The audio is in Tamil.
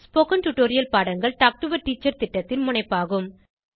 ஸ்போகன் டுடோரியல் பாடங்கள் டாக் டு எ டீச்சர் திட்டத்தின் முனைப்பாகும்